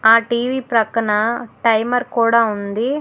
ఆ టీ_వీ ప్రక్కన టైమర్ కూడా ఉంది.